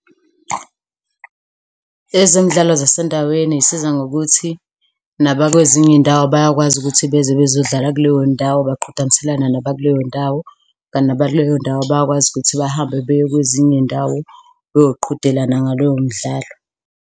Ezemidlalo zasendaweni zisiza ngokuthi nabakwezinye iy'ndawo bayakwazi ukuthi beze bezodlala kuleyo ndawo, baqhudelisane naba kuleyo ndawo kanti naba kuleyo ndawo bayakwazi ukuthi bahambe baye kwezinye iy'ndawo beyoqhudelana ngalowo mdlalo.